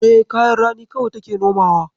E, kayan rani kawai take nomawa.